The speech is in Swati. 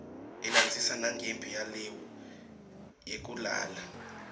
ilandzisa nanqemphi yeliue yekulala